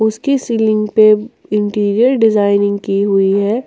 इसकी सीलिंग पे interior designing की हुई है।